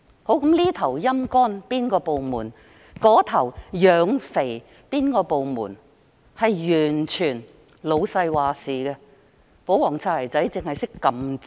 這邊廂"陰乾"一個部門，那邊廂養肥另一個部門，完全由老闆決定，保皇"擦鞋仔"只懂按掣。